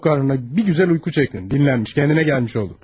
Tok qarnına bir gözəl yuxu çəkdin, dincəlmiş, özünə gəlmiş oldun.